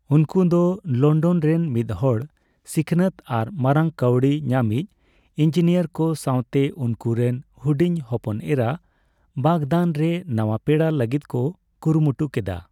ᱩᱱᱠᱩ ᱫᱚ ᱞᱚᱱᱰᱚᱱ ᱨᱮᱱ ᱢᱤᱫᱦᱚᱲ ᱥᱤᱠᱷᱱᱟᱹᱛ ᱟᱨ ᱢᱟᱨᱟᱝ ᱠᱟᱹᱣᱰᱤ ᱧᱟᱢᱤᱡ ᱤᱱᱡᱤᱱᱤᱭᱟᱨ ᱠᱚ ᱥᱟᱣᱛᱮ ᱩᱱᱠᱩ ᱨᱮᱱ ᱦᱩᱰᱤᱧ ᱦᱚᱯᱚᱱ ᱮᱨᱟ ᱵᱟᱜᱫᱟᱱ ᱨᱮ ᱱᱟᱣᱟ ᱯᱮᱲᱟᱜ ᱞᱟᱹᱜᱤᱫ ᱠᱚ ᱠᱩᱨᱩᱢᱩᱴᱩ ᱠᱮᱫᱟ ᱾